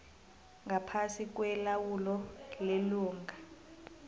ngaphasi kwelawulo lelunga